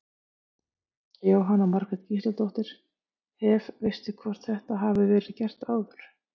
Jóhanna Margrét Gísladóttir: Hef, veistu hvort þetta hafi verið gert áður?